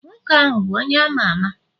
nwoke ahu bu onye ama ama?